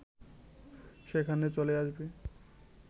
সেখানে চলে আসবে